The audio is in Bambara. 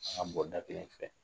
An ka bɔda kelen fɛ.